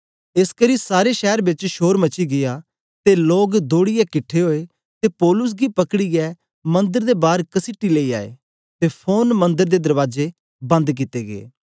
एसकरी सारे शैर बेच शोर मची गीया ते लोग दौड़ीयै किट्ठे ओए ते पौलुस गी पकड़ीयै मन्दर दे बार कसीटी लेई आए ते फोरन मंदर दे दरबाजे बंद कित्ते गै